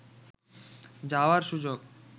যাওয়ার সুযোগ